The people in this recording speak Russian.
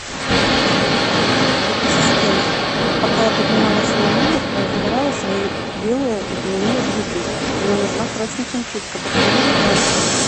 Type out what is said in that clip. ассистент пока я поднималась в свой номер замарала свои белые льняные брюки мне нужна срочно химчистка подскажи ближайшую